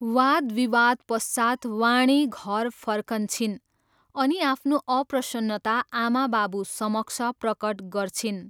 वादविवादपश्चात् वाणी घर फर्कन्छिन् अनि आफ्नो अप्रसन्नता आमाबाबुसमक्ष प्रकट गर्छिन्।